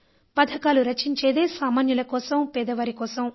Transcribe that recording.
పథకాలు రచించేదే సామాన్యుల కోసం పేదవారి కోసం